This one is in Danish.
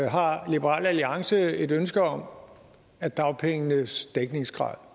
har liberal alliance et ønske om at dagpengenes dækningsgrad